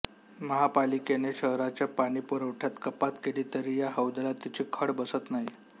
महापालिकेने शहराच्या पाणी पुरवठ्यात कपात केली तरी या हौदाला तिची झळ बसत नाही